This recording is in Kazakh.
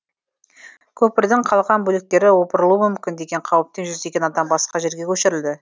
көпірдің қалған бөліктері опырылуы мүмкін деген қауіптен жүздеген адам басқа жерге көшірілді